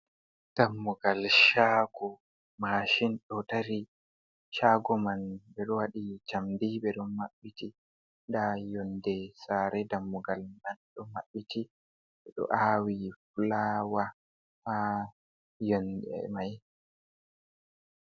Dammugal shago mashin ɗo dari shago man ɓe waɗi jamdi ɓeɗo mabbiti nda yonde sare dammugal man do mabɓiti do awi fulaawa ha yonede mai.